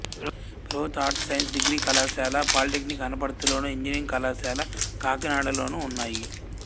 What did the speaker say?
ప్రభుత్వ arts science degree కళాశాల polytechnic అనపర్తిలోను ఇంజనీరింగ్ కళాశాల కాకినాడలోనూ ఉన్నాయి